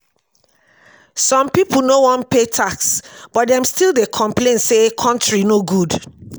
some people no wan pay tax but dem still dey complain say country no good.